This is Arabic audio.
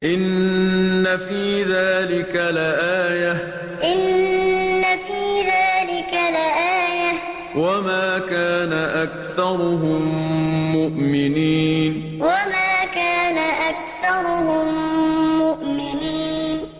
إِنَّ فِي ذَٰلِكَ لَآيَةً ۖ وَمَا كَانَ أَكْثَرُهُم مُّؤْمِنِينَ إِنَّ فِي ذَٰلِكَ لَآيَةً ۖ وَمَا كَانَ أَكْثَرُهُم مُّؤْمِنِينَ